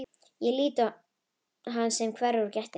Ég lít á hann sem hverfur úr gættinni.